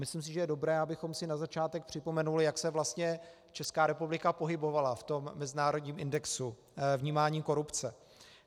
Myslím si, že je dobré, abychom si na začátek připomenuli, jak se vlastně Česká republika pohybovala v tom mezinárodním indexu vnímání korupce.